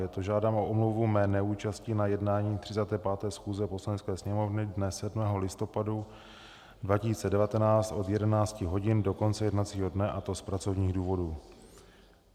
Je to: Žádám o omluvu mé neúčasti na jednání 35. schůze Poslanecké sněmovny dne 7. listopadu 2019 od 11 hodin do konce jednacího dne, a to z pracovních důvodů.